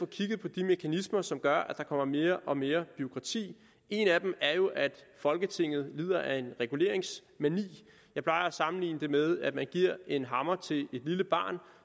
kigge på de mekanismer som gør at der kommer mere og mere bureaukrati en af dem er jo at folketinget lider af en reguleringsmani jeg plejer at sammenligne det med at man giver en hammer til et lille barn